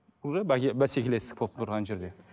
уже бәскелестік болып тұр ана жерде